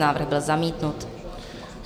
Návrh byl zamítnut.